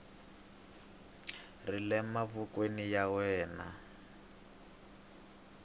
ri le mavokweni ya wena